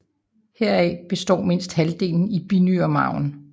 Heraf opstår mindst halvdelen i binyremarven